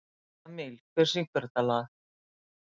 Jamil, hver syngur þetta lag?